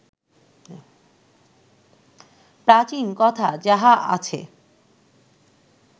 প্রাচীন কথা যাহা আছে